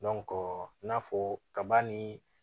i n'a fɔ kaba ni